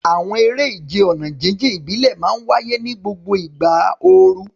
Àwọn eré ìje ọ̀nà jíjìn ìbílẹ̀ máa ń wáyé ní gbogbo ìgbà ooru.